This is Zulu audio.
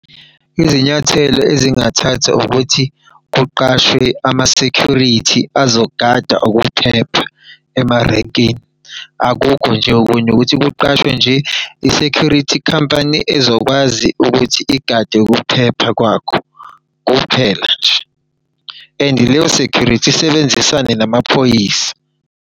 Izinyathelo ezingathathwa ukuthi kuqashwe ama-security azogada ukuphepha emarenkini. Akukho nje okunye ukuthi kuqashwe nje i-security company ezokwazi ukuthi igade ukuphepha kwakho kuphela nje. And leyo security isebenzisane namaphoyisa.